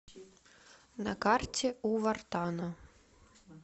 на карте у вартана